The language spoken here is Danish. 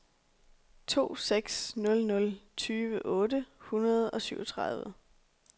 to seks nul nul tyve otte hundrede og syvogtredive